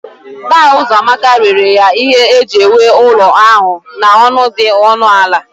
Daa Uzoamaka rere ya ihe eji ewu ụlọ ahụ n'ọnụ dị ọnụ ala